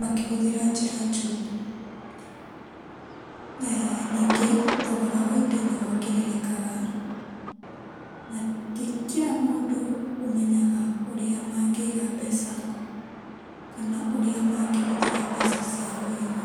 makĩhũthĩra njĩra njũru.[ Aa], ningĩ thogora wa indo nĩwongererekaga na ti kila mũndũ ũmenyaga ũrĩa mangĩiga mbeca kana ũrĩa mangĩhũthĩra mbeca ciao wega.